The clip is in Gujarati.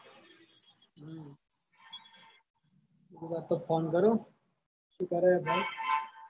કીધું આજતો phone કરું શું કરે હે ભાઈ.